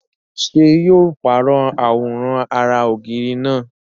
ṣé yóò pàrọ̀ àwòrán ara ògiri náà?